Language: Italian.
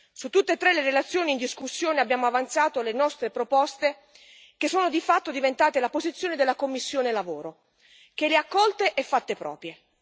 Su tutte e tre le relazioni in discussione abbiamo avanzato le nostre proposte, che sono di fatto diventate la posizione della commissione EMPL, che le ha accolte e fatte proprie.